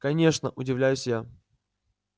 конечно удивляюсь я